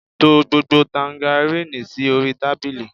To gbogbo tangaríìnì sí orí tábìlì!